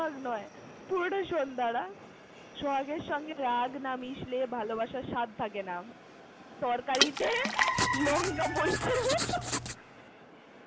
পুরোটা শোন দাঁড়া- সোহাগের সঙ্গে রাগ না মিশলে ভালোবাসার স্বাদ থাকেনা। তরকারিতে লঙ্কা মরিচের মত।